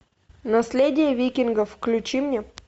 наследие викингов включи мне